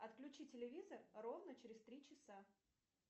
отключи телевизор ровно через три часа